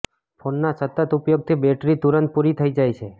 ફોનના સતત ઉપયોગથી બેટરી તુરંત પૂરી થઈ જાય છે